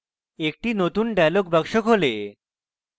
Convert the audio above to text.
একটি নতুন dialog box খোলে